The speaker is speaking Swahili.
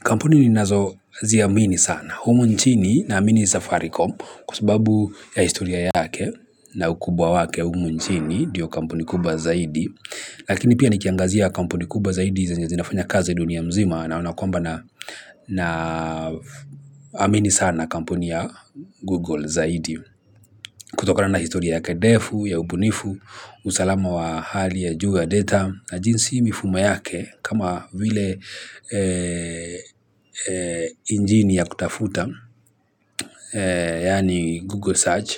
Kampuni ninazo ziamini sana. Humu nchini naamini safaricom kwa sababu ya historia yake na ukubwa wake humu nchini ndio kampuni kubwa zaidi. Lakini pia nikiangazia kampuni kubwa zaidi zenye zinafanya kazi dunia nzima naona kwamba naamini sana kampuni ya Google zaidi. Kutokona na historia yake ndefu, ya ubunifu, usalama wa hali ya juu ya data, na jinsi mifumo yake kama vile injini ya kutafuta, yaani Google Search,